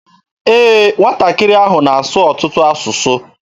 Ee, nwatakịrị ahụ na-asụ ọtụtụ asụsụ.